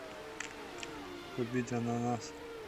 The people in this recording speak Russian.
купить ананас